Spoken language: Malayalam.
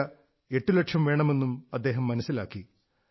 വില എട്ടുലക്ഷം വേണമെന്നും മനസ്സിലായി